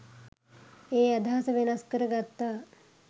ඒ අදහස වෙනස් කර ගත්තා.